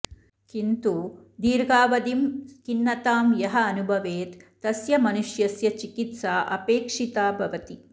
किन्तु दीर्घावधिं खिन्नतां यः अनुभवेत् तस्य मनुष्यस्य चिकित्सा अपेक्षिता भवति